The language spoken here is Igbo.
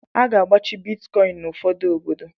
A ga-agbachi Bitkọin n'ụfọdụ obodo.